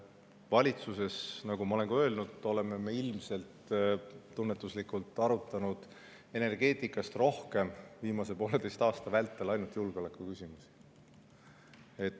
Valitsuses, nagu ma olen ka öelnud, oleme me ilmselt – tunnetuslikult – arutanud viimase pooleteise aasta vältel energeetikast rohkem ainult julgeolekuküsimusi.